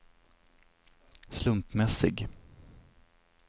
slumpmässig